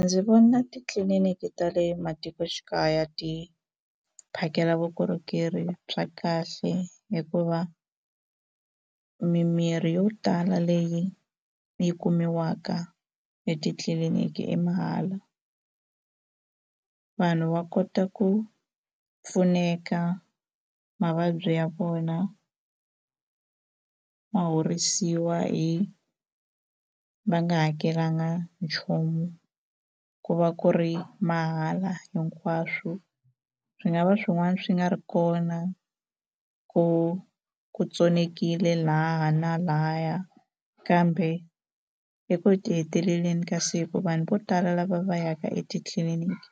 Ndzi vona titliliniki ta le matikoxikaya ti phakela vukorhokeri bya kahle hikuva mimirhi yo tala leyi yi kumiwaka etitliliniki i mahala vanhu va kota ku pfuneka mavabyi ya vona ma horisiwa hi va nga hakelanga nchumu ku va ku ri mahala hinkwaswo swi nga va swin'wana swi nga ri kona ku ku tsonekile lahaya na lahaya kambe eku heteleleni ka siku vanhu vo tala lava va yaka etitliliniki